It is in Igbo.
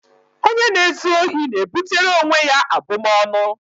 Onye na-ezu ohi na-ebutere onwe ya abụmaọnụ.